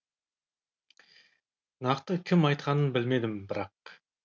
нақты кім айтқанын білмедім бірақ